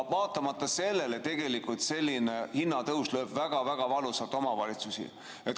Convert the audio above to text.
Vaatamata sellele lööb selline hinnatõus omavalitsusi väga valusalt.